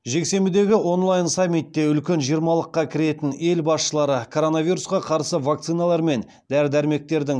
жексенбідегі онлайн саммитте үлкен жиырмалыққа кіретін ел басшылары коронавирусқа қарсы вакциналар мен дәрі дәрмектердің